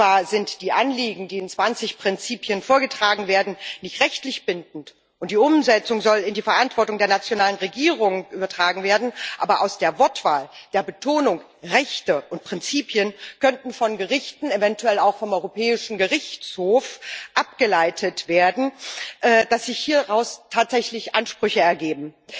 Zwar sind die Anliegen, die in 20 Prinzipien vorgetragen werden, nicht rechtlich bindend, und die Umsetzung soll in die Verantwortung der nationalen Regierungen übertragen werden, aber aus der Wortwahl, der Betonung Rechte und Prinzipien können von Gerichten, eventuell auch vom Europäischen Gerichtshof, abgeleitet werden, dass sich hieraus tatsächlich Ansprüche ergeben.